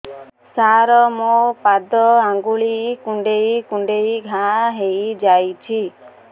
ସାର ମୋ ପାଦ ଆଙ୍ଗୁଳି କୁଣ୍ଡେଇ କୁଣ୍ଡେଇ ଘା ହେଇଯାଇଛି